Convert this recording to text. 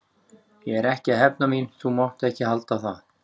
Ég er ekki að hefna mín, þú mátt ekki halda það.